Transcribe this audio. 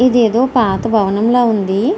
ఇదేదో పాత భవనం లాగా ఉంది.